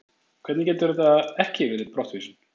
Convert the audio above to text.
Hvernig getur þetta ekki verið brottvísun?